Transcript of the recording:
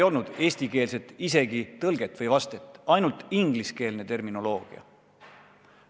Polnud isegi eestikeelset tõlget, ainult ingliskeelne terminoloogia.